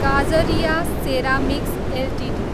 Kajaria ceramics Ltd